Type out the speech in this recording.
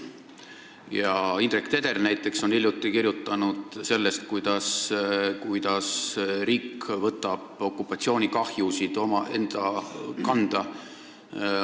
Ja Indrek Teder on hiljuti kirjutanud näiteks sellest, kuidas riik võtab okupatsioonikahjusid enda kanda.